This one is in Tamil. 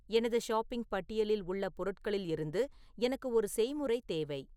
எனது ஷாப்பிங் பட்டியலில் உள்ள பொருட்களிலிருந்து எனக்கு ஒரு செய்முறை தேவை